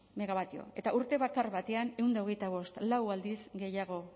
megawatio eta urte bakar batean ehun eta hogeita bost lau aldiz gehiago